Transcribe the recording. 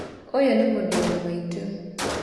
ũyũ nĩ mũrũ wa maitũ.